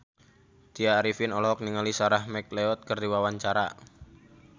Tya Arifin olohok ningali Sarah McLeod keur diwawancara